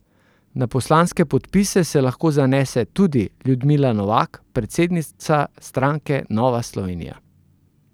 Na poslanske podpise se lahko zanese tudi Ljudmila Novak, predsednica stranke Nova Slovenija.